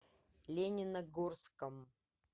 лениногорском